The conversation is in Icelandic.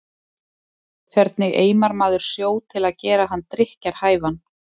Hvernig eimar maður sjó til að gera hann drykkjarhæfan?